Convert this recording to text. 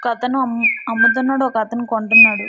ఒక అతను అమ్ము అమ్ముతున్నాడు . ఒక అతను కొంటున్నాడు.